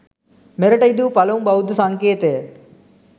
මෙරට ඉදිවූ පළමු බෞද්ධ සංකේතය